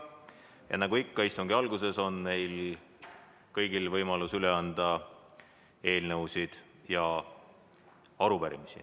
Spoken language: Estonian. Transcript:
Ja nagu ikka, istungi alguses on kõigil võimalus üle anda eelnõusid ja arupärimisi.